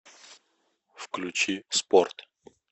включи спорт